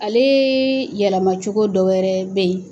Ale yɛlɛma cogo dɔ wɛrɛ bɛ yen